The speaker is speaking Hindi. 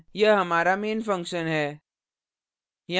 यह हमारा main function है